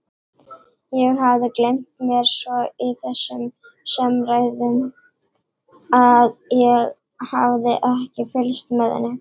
Ég hafði gleymt mér svo í þessum samræðum að ég hafði ekki fylgst með henni.